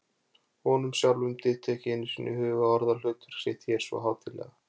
Honum sjálfum dytti ekki einu sinni í hug að orða hlutverk sitt hér svo hátíðlega.